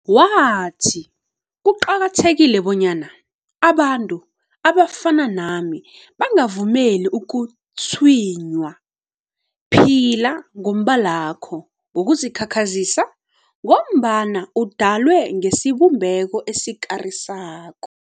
Wathi, Kuqakathekile bonyana abantu abafana nami bangavumeli ukutshinywa. Phila nombalakho ngokuzikhakhazisa ngombana udalwe ngesibumbeko esikarisako.